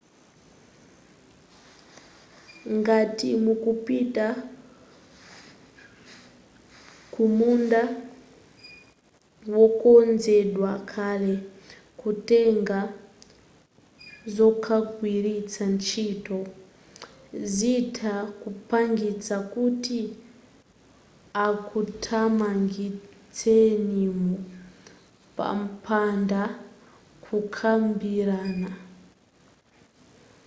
ngati mupita kumunda wokonzedwa kale kutenga zokagwiritsa ntchito zitha kupangisa kuti akuthamangitsenimo popanda kukambirana